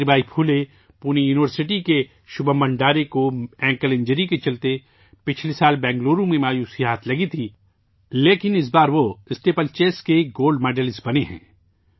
Savitri Bai Phule Pune university کے شبھم بھنڈارے کو ٹخنے کی چوٹ کی وجہ سے گزشتہ سال بنگلورو میں مایوسی کا سامنا کرنا پڑا تھا، لیکن اس بار اسٹیپل چیس کے گولڈ میڈلسٹ بنے ہیں